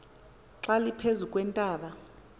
xa liphezu kweentaba